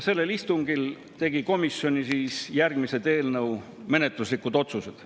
Sellel istungil tegi komisjon järgmised menetluslikud otsused.